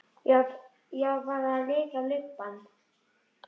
Ég var bara að lita lubbann.